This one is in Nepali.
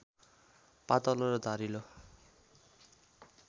पातलो र धारिलो